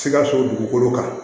Sikaso dukolo kan